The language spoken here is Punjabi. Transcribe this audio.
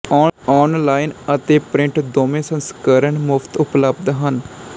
ਓਨਲਾਈਨ ਅਤੇ ਪ੍ਰਿੰਟ ਦੋਵੇਂ ਸੰਸਕਰਣ ਮੁਫ਼ਤ ਉਪਲਬਧ ਹਨ